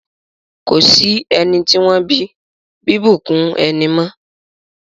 Ko sí ẹni tí wọ́n bí bíbùnkún ẹni mọ́.